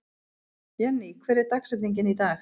Jenny, hver er dagsetningin í dag?